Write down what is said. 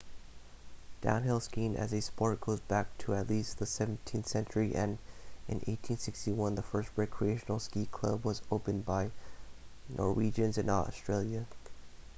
downhill skiing as a sport goes back to at least the 17th century and in 1861 the first recreational ski club was opened by norwegians in australia